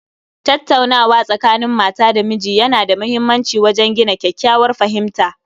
Tattaunawa Tsakanin Mata da miji Yana da muhimmanci wajen gina kyakkyawar fahimta